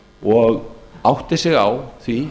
og átti sig á því